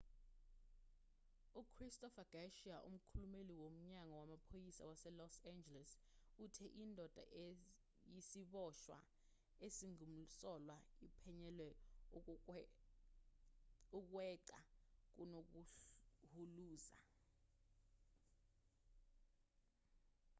uchristopher garcia umkhulumeli womnyango wamaphoyisa waselos angeles uthe indoda eyisiboshwa esingumsolwa iphenyelwa ukweqa kunokuhuluza